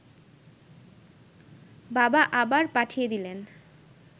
বাবা আবার পাঠিয়ে দিলেন